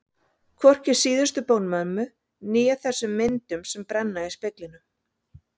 Hvorki síðustu bón mömmu né þessum myndum sem brenna í speglinum.